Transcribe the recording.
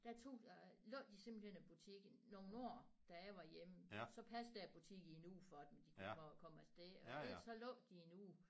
Der tog jeg lukkede de simpelthen butikken nogle år da jeg var hjemme så passede jeg deres butik i en uge for dem de kunne komme afsted og så lukkede de i en uge